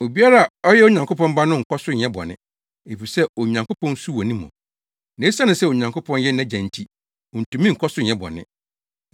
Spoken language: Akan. Obiara a ɔyɛ Onyankopɔn Ba no nkɔ so nyɛ bɔne, efisɛ Onyankopɔn su wɔ ne mu, na esiane sɛ Onyankopɔn yɛ nʼAgya nti, ontumi nkɔ so nyɛ bɔne.